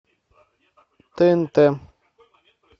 тнт